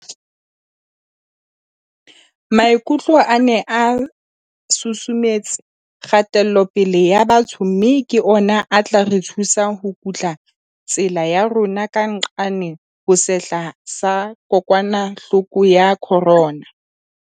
Maikutlo a ne a susumetse kgatelopele ya batho mme ke ona a tla re thusa ho kutla tsela ya rona ka nqane ho sehla sa kokwanahloko ya corona.